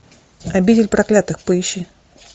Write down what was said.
обитель проклятых поищи